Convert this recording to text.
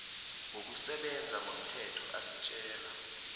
wokusebenza ngomthetho asitjela